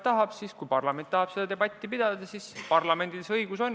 Ja kui parlament tahab seda debatti pidada, siis parlamendil see õigus on.